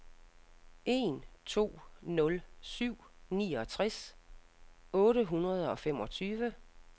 en to nul syv niogtres otte hundrede og femogtyve